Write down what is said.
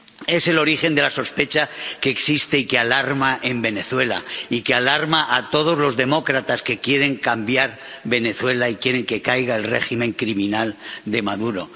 Es el origen de la sospecha que existe y que alarma en Venezuela, y que alarma a todos los demócratas que quieren cambiar Venezuela y quieren que caiga el régimen criminal de Maduro.